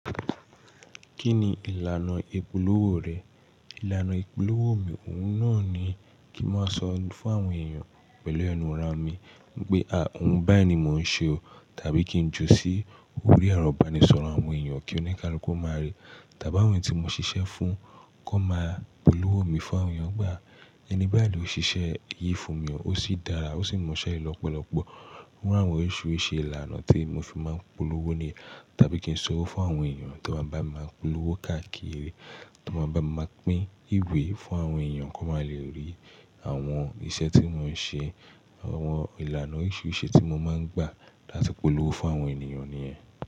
Kí ni ìlànà ìpolówó rẹ̀? Ìlànà ìpolówó mi òun náà ni kí n má sọ fún àwọn èèyàn pẹ̀lú ẹnu ara mi pé òun bayii ni mò ń ṣe o tàbí kí n ju sí orí ẹ̀rọ ìbánisọ̀rọ̀ àwọn èèyàn kí ó ní káluku o máa rí. Tàbí àwọn tí mo ṣiṣẹ́ fún kó máa polówó mi fún àwọn èèyàn. Ìgbà ẹni bayo ló ṣiṣẹ́ eyìí fún mi o, ó sì dára, ó sì mọṣẹ́ lọ́pọ̀lọpọ̀. Iru àwọn orisirisi ìlànà tí mo fi máa ń polówó ni. Tàbí kí n sọ wò fún àwọn èèyàn tí wọ́n bá máa ń polówó káàkiri, tí wọ́n bá máa pín ìwé fún àwọn èèyàn kó máa le rí àwọn iṣẹ́ tí mò ń ṣe, àwọn ìlànà orisirisi tí mo máa ń gbà láti polówó fún àwọn ènìyàn ni yen.